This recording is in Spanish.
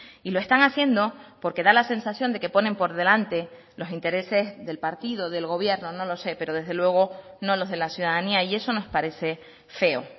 y lo están haciendo porque da la sensación de que ponen por delante los intereses del partido del gobierno no lo sé pero desde luego no los de la ciudadanía y eso nos parece feo